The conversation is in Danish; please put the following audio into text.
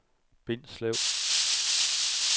Bindslev